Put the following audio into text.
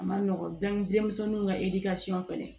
A ma nɔgɔn denmisɛnninw ka fɛnɛ